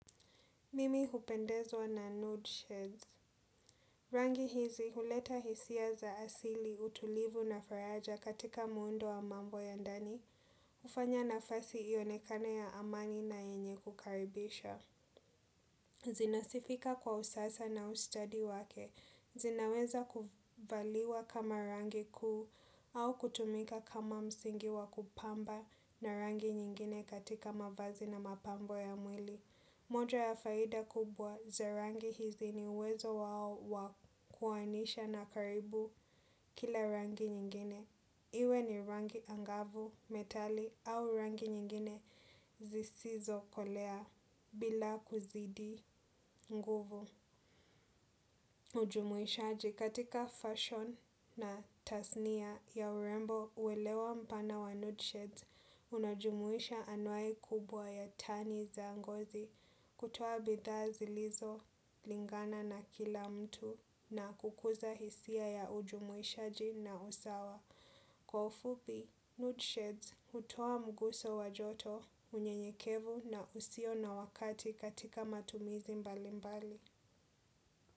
Mimi hupendezwa na nude sheds. Rangi hizi huleta hisia za asili utulivu na faraja katika muundo wa mambo ya ndani. Hufanya nafasi ionekane ya amani na yenye kukaribisha. Zinasifika kwa usasa na ustadi wake. Zinaweza kuvaliwa kama rangi kuu au kutumika kama msingi wa kupamba na rangi nyingine katika mavazi na mapambo ya mwili. Moja ya faida kubwa za rangi hizi ni uwezo wa kuoanisha na karibu kila rangi nyingine. Iwe ni rangi angavu, metali au rangi nyingine zisizo kolea bila kuzidi nguvu. Ujumuishaji katika fashion na tasnia ya urembo uelewa mpana wa nude sheds. Unajumuisha anuai kubwa ya tani za ngozi kutuoa bidhaa zilizo lingana na kila mtu na kukuza hisia ya ujumuishaji na usawa. Kwa ufupi, nude sheds utoa mguso wa joto unyenyekevu na usio na wakati katika matumizi mbali mbali.